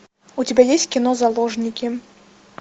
у тебя есть кино заложники